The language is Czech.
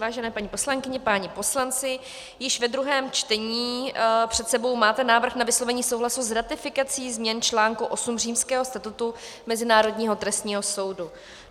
Vážené paní poslankyně, páni poslanci, již ve druhém čtení před sebou máte návrh na vyslovení souhlasu s ratifikací změn článku 8 Římského statutu Mezinárodního trestního soudu.